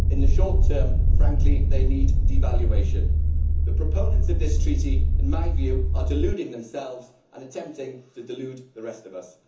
in the short term, frankly, they need devaluation. The proponents of this treaty are, in my view, deluding themselves and attempting to delude the rest of us.